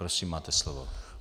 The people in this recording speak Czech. Prosím, máte slovo.